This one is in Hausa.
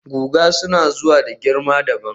guga suna zuwa da girma dabam